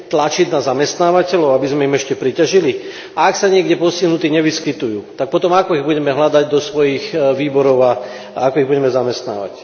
Tlačiť na zamestnávateľov, aby sme im ešte priťažili? A ak sa niekde postihnutí nevyskytujú, tak potom ako ich budeme hľadať do svojich výborov a ako ich budeme zamestnávať?